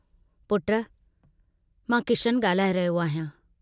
पुट मां किशनु ॻाल्हाए रहियो आहियां।